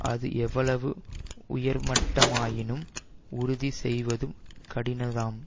அது எவ்வளவு உயர் மட்டமாயினும் உறுதி செய்வதும் கடினம் தான்